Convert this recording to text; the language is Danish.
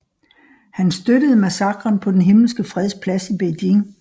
Han støttede massakren på den Himmelske Freds Plads i Beijing